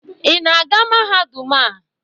Ị na-aga mahadum a?